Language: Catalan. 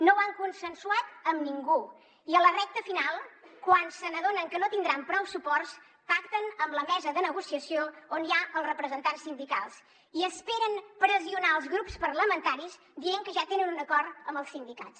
no ho han consensuat amb ningú i a la recta final quan s’adonen que no tindran prou suports pacten amb la mesa de negociació on hi ha els representants sindicals i esperen pressionar els grups parlamentaris dient que ja tenen un acord amb els sindicats